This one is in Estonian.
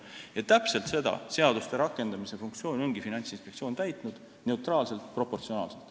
Ja täpselt seda seaduste rakendamise funktsiooni ongi Finantsinspektsioon täitnud, neutraalselt ja proportsionaalselt.